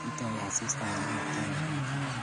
Kitoi asista kororokto eng katam